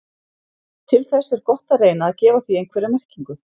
til þess er gott að reyna að gefa því einhverja merkingu